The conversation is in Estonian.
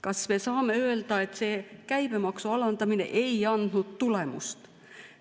Kas me saame öelda, et käibemaksu alandamine ei andnud tulemust?